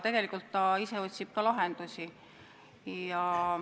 Tegelikult ta otsib ka lahendusi.